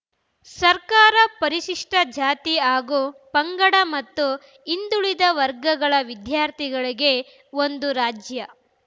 ಸರ್ಕಾರ ಪರಿಶಿಷ್ಟಜಾತಿ ಹಾಗೂ ಪಂಗಡ ಮತ್ತು ಹಿಂದುಳಿದ ವರ್ಗಗಳ ವಿದ್ಯಾರ್ಥಿಗಳಿಗೆ ಒಂದು ರಾಜ್ಯ